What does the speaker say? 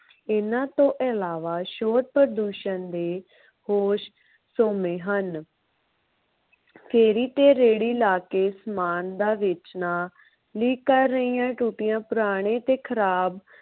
ਇਹਨਾਂ ਤੋਂ ਇਲਾਵਾ ਸ਼ੋਰ ਪ੍ਰਦੂਸ਼ਣ ਦੇ ਹੋਰ ਸੋਮੇ ਹਨ। ਫੇਰੀ ਤੇ ਰੇਹੜੀ ਲਾ ਕੇ ਸਮਾਨ ਦਾ ਵੇਚਣਾ, ਲੀਕ ਕਰ ਰਹੀਆਂ ਟੂਟੀਆਂ, ਪੁਰਾਣੇ ਤੇ ਖਰਾਬ